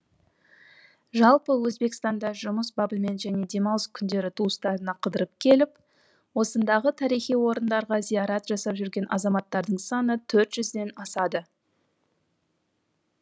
жалпы өзбекстанда жұмыс бабымен және демалыс күндері туыстарына қыдырып келіп осындағы тарихи орындарға зиярат жасап жүрген азаматтардың саны төрт жүзден асады